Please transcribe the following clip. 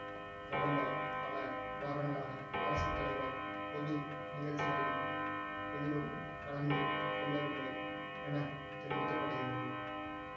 கடந்த பல வாரங்களாக அரசத்தலைவர் பொது நிகழ்ச்சிகள் எதிலும் கலந்து கொள்ளவில்லை என தெரிவிக்க படுகிறது